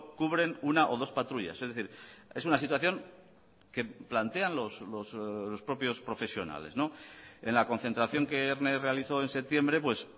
cubren una o dos patrullas es decir es una situación que plantean los propios profesionales en la concentración que erne realizó en septiembre pues